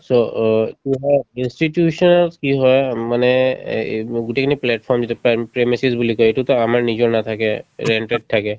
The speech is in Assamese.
so, অ এইটো হয় institution ত কি হয় মানে এ এ গোটেইখিনি plate form যেতিয়া পাম বুলি কই এইটো to আমাৰ নিজৰ নাথাকে rent তত থাকে